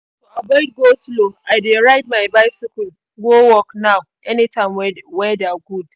to avoid go-slow i dey ride my bicycle go work now anytime weather good